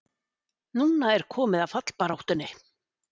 Núna er komið að fallbaráttunni!